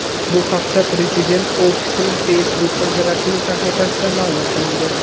Bu haqda Prezident ofisining Facebook’dagi rasmiy sahifasida ma’lum qilingan .